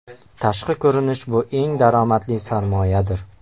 Tashqi ko‘rinish bu eng daromadli sarmoyadir!